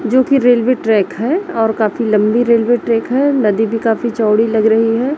जो की railway track है और काफी लंबी रेलवे ट्रैक है नदी भी काफी चौड़ी लग रही है।